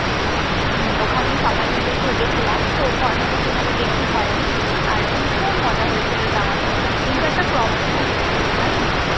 হম ওখানেই সবাই মিলে থেকেছিলাম। তো খরচাটা সেইভাবে বেশি হয়নি। আর ভীষণ মজা হয়েছিল যাওয়ার সময়। কিন্তু একটা problem ও হয়েছিল জানিস্?